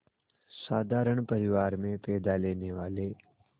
साधारण परिवार में पैदा लेने वाले